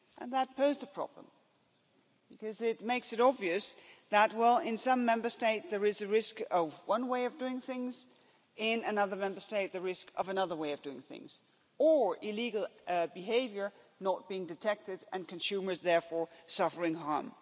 That poses a problem, because it makes it obvious that in some Member State there is a risk of one way of doing things, in another Member State the risk of another way of doing things or illegal behaviour not being detected and consumers therefore suffering